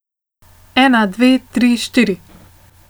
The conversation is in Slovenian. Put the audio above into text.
Ena, dve, tri, štiri.